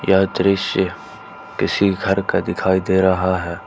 यह दृश्य किसी घर का दिखाई दे रहा है।